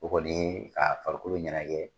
O kɔni ka farikolo ɲɛnagɛ